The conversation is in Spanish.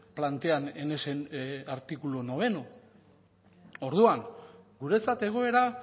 plantean en ese artículo noveno orduan guretzat egoera